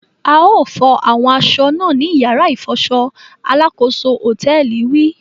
A o fọ awọn aṣọ náà nì yàrá ifọṣọ! Alakoso hotẹẹli wí